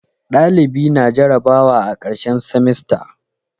dalibi na jarabawa a karshen simasta